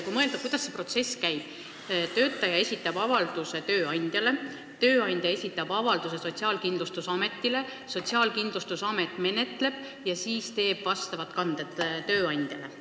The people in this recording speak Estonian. Mõtleme, kuidas see protsess käib: töötaja esitab avalduse tööandjale, tööandja esitab avalduse Sotsiaalkindlustusametile, Sotsiaalkindlustusamet menetleb ja siis teeb vastavad kanded tööandja jaoks.